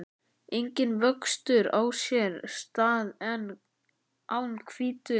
Enginn vöxtur á sér stað án hvítu.